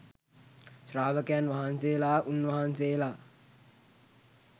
ශ්‍රාවකයන් වහන්සේලා උන්වහන්සේලා